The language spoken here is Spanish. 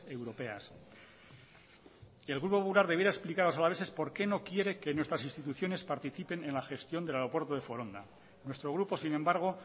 europeas el grupo popular debiera explicar a los alaveses por qué no quiere que nuestras instituciones participen en la gestión del aeropuerto de foronda nuestro grupo sin embargo